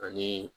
Ani